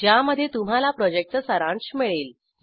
ज्यामध्ये तुम्हाला प्रॉजेक्टचा सारांश मिळेल